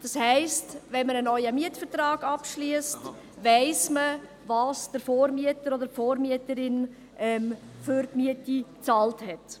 Das heisst, beim Abschluss eines neuen Mietvertrags weiss man, was der Vormieter oder die Vormieterin für die Miete bezahlt hat.